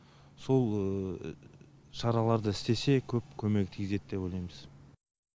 сол шараларды істесе көп көмегі тигізеді деп ойлаймыз